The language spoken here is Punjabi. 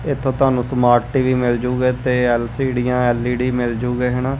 ਇਥੋਂ ਤੁਹਾਨੂੰ ਸਮਾਰਟ ਟੀ_ਵੀ ਮਿਲ ਜੂਗੇ ਤੇ ਐਲ_ਸੀ ਡੀਆਂ ਐਲ_ਈ_ਡੀ ਮਿਲ ਜੂਗੇ ਹੈ ਨਾ।